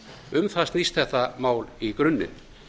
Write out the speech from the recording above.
um það snýst þetta mál í grunninn